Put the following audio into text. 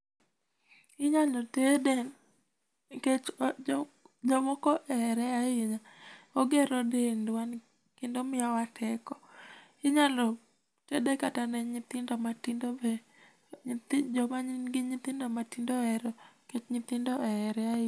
Inyalo tede nikech jomoko ohere ahinya, ogero dendwa kendo miyowa teko , inyalo tede kata ne nyithindo matindo bende joma nigi nyithindo ohere nikech nyithindo ohere ahinya.